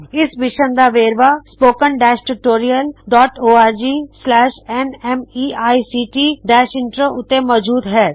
ਇਸ ਮਿਸ਼ਨ ਦਾ ਹੋਰ ਵੇਰਵਾ spoken tutorialorgnmeict ਇੰਟਰੋ ਉੱਤੇ ਮੌਜੂਦ ਹੈ